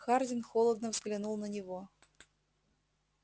хардин холодно взглянул на него